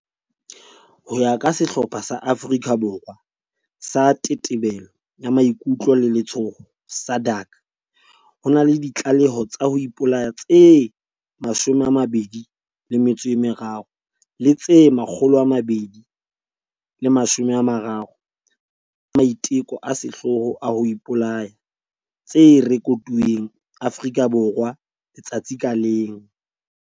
Ho ya ka sehlopha sa Afrika Borwa sa Tetebelo ya Maikutlo le Letshoho, SADAG, ho na le ditlaleho tsa ho ipolaya tse 23 le tse 230 tsa maiteko a sehloho a ho ipolaya tse rekotuweng Afrika Borwa letsatsi ka leng.